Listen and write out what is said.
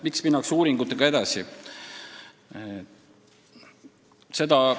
Miks minnakse uuringutega edasi?